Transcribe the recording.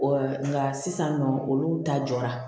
nka sisan nɔ olu ta jɔra